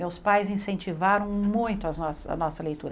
Meus pais incentivaram muito as nossas a nossa leitura.